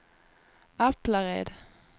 Aplared